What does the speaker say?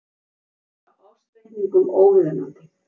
Skil á ársreikningum óviðunandi